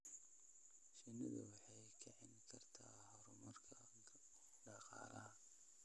Shinnidu waxay kicin kartaa horumarka dhaqaalaha.